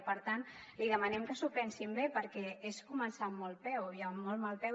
i per tant li demanem que s’ho pensin bé perquè és començar amb mal peu i amb molt mal peu